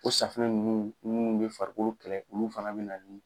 O safunɛ ninnu minnu bɛ farikolo kɛlɛ olu fana bɛ na ni